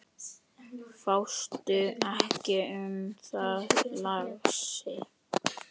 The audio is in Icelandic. Fástu ekki um það, lagsi.